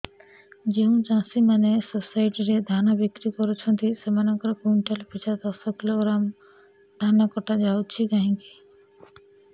ଯେଉଁ ଚାଷୀ ମାନେ ସୋସାଇଟି ରେ ଧାନ ବିକ୍ରି କରୁଛନ୍ତି ସେମାନଙ୍କର କୁଇଣ୍ଟାଲ ପିଛା ଦଶ କିଲୋଗ୍ରାମ ଧାନ କଟା ଯାଉଛି କାହିଁକି